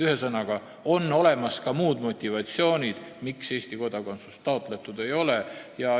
Ühesõnaga, on olemas ka muid motivatsioone, miks Eesti kodakondsust taotletud ei ole.